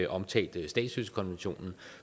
omtalt statsløsekonventionen